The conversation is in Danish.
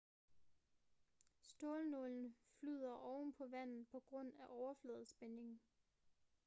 stålnålen flyder oven på vandet på grund af overfladespænding